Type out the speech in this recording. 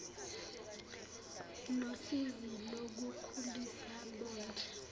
nosizi lokukhulisa bondle